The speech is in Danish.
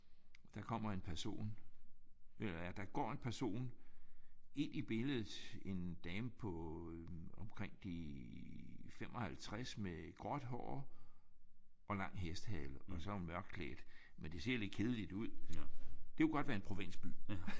Og der kommer en person eller der går en person ind i billedet. En dame på omkring de 55 med gråt hår og lang hestehale og så er hun mørkt klædt. Men det ser lidt kedeligt ud. Det kunne godt være en provinsby